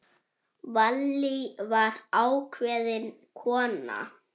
Vallý var ákveðin kona.